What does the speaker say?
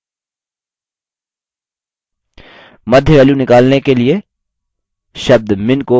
मध्य value निकलने के लिए शब्द min को median से बदलें